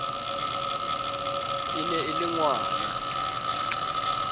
e ne e le ngwana